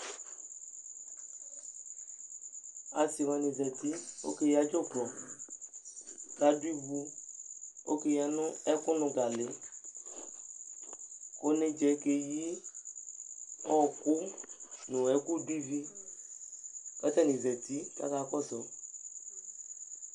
Asɩ wanɩ zati Ɔkeyǝ dzʋklɔ kʋ adʋ ivu Ɔkeyǝ nʋ ɛkʋnʋ galɩ kʋ onedzǝ yɛ keyi ɔɣɔkʋ nʋ ɛkʋdʋ ivi kʋ atanɩ zati kʋ akakɔsʋ